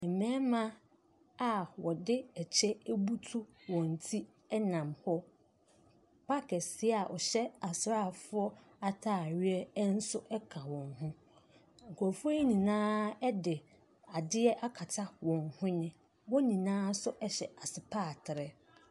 Mmarima a wɔde kyɛ abutu wɔn ti nam hɔ. Park kɛseɛ a wɔhyɛ asraafoɔ atareɛ nso ka wɔn ho, nkurɔfoɔ yi nyinaa de adeɛ akata wɔn hwene. Wɔn nyinaa nso hyɛ asopaatere.